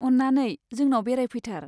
अन्नानै! जोंनाव बेरायफैथार।